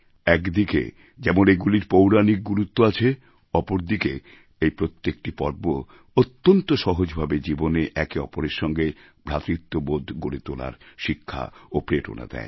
একদিকে যেমন এগুলির পৌরাণিক গুরুত্ব আছে অপরদিকে এই প্রত্যেকটি পর্ব অত্যন্ত সহজভাবে জীবনে একে অপরের সঙ্গে ভ্রাতৃত্ববোধ গড়ে তোলার শিক্ষা ও প্রেরণা দেয়